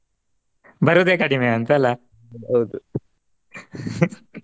ಬರೋದೇ ಕಡಿಮೆ ಅಂತ ಅಲ್ಲಾ ಹೌದು .